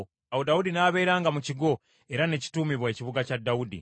Awo Dawudi n’abeeranga mu kigo, era ne kituumibwa Ekibuga kya Dawudi.